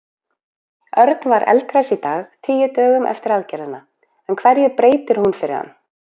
Örn var eldhress í dag, tíu dögum eftir aðgerðina, en hverju breytir hún fyrir hann?